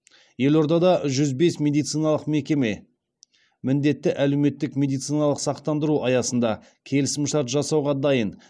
елордада жүз бес медициналық мекеме міндетті әлеуметтік медициналық сақтандыру аясында келісімшарт жасауға дайын